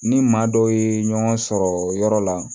Ni maa dɔ ye ɲɔgɔn sɔrɔ yɔrɔ la